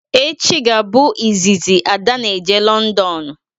Echi ga abụ izizi Ada n'eje Londonu